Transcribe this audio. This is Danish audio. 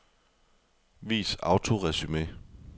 Vis autoresumé.